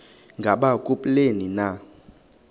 ngaba kubleni na